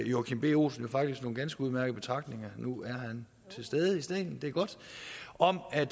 joachim b olsen faktisk havde nogle ganske udmærkede betragtninger nu er han til stede i salen det er godt om at